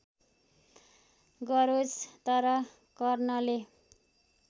गरोस् तर कर्णले